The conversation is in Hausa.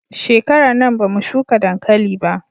Shekarar nan ba mu shuka dankali ba